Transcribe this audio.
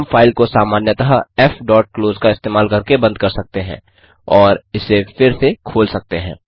हम फाइल को सामान्यतः fक्लोज का इस्तेमाल करके बंद कर सकते हैं और इसे फिर से खोल सकते हैं